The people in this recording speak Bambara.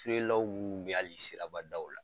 ye ali sirabadaw la